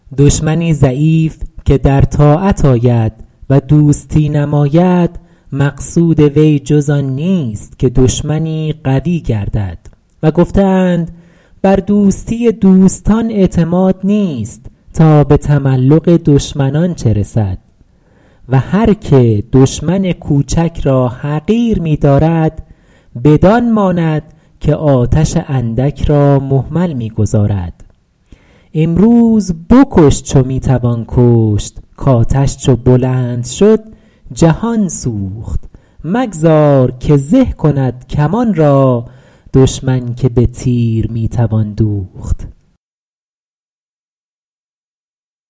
دشمنی ضعیف که در طاعت آید و دوستی نماید مقصود وی جز آن نیست که دشمنی قوی گردد و گفته اند بر دوستی دوستان اعتماد نیست تا به تملق دشمنان چه رسد و هر که دشمن کوچک را حقیر می دارد بدان ماند که آتش اندک را مهمل می گذارد امروز بکش چو می توان کشت کآتش چو بلند شد جهان سوخت مگذار که زه کند کمان را دشمن که به تیر می توان دوخت